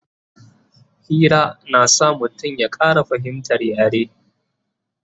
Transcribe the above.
Hira na sa mutum ya Ƙara fahimtar yare